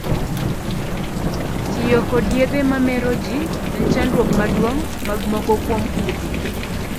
Tiyo kod yedhe ma meroji en chandruok maduong' mag moko kuom udi.